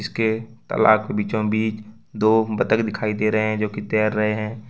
इसके तालाब के बीचों बीच दो बत्तख दिखाई दे रहे हैं जोकि तैर रहे हैं।